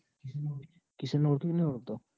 કિશાન ને ઓળખે કે નઈ ઓળખતો?